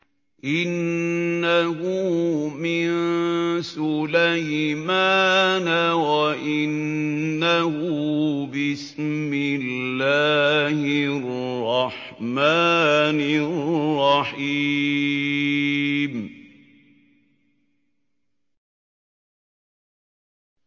إِنَّهُ مِن سُلَيْمَانَ وَإِنَّهُ بِسْمِ اللَّهِ الرَّحْمَٰنِ الرَّحِيمِ